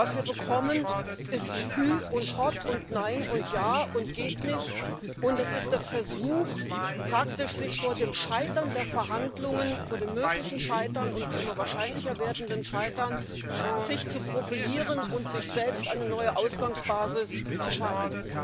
Was wir bekommen, ist hü und hott und nein und ja und geht nicht, und es ist der Versuch, sich vor dem Scheitern der Verhandlungen vor dem möglichen Scheitern und immer wahrscheinlicher werdenden Scheitern zu profilieren und sich selbst eine neue Ausgangsbasis zu schaffen.